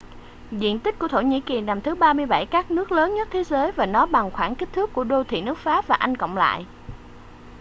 diện tích của thổ nhĩ kỳ nằm thứ 37 các nước lớn nhất thế giới và nó bằng khoảng kích thước của đô thị nước pháp và anh cộng lại